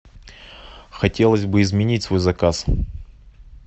хотелось бы изменить свой заказ